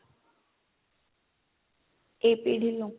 AP Dillon